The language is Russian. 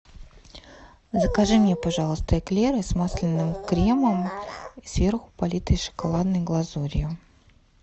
закажи мне пожалуйста эклеры с масляным кремом и сверху политые шоколадной глазурью